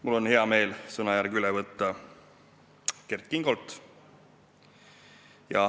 Mul on hea meel võtta sõnajärg üle Kert Kingolt.